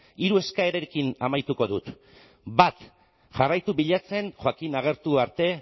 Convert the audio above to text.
hiru eskaerarekin amaituko dut bat jarraitu bilatzen joaquín agertu arte